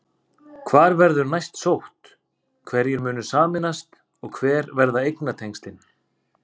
Hvar verður næst sótt, hverjir munu sameinast og hver verða eignatengslin?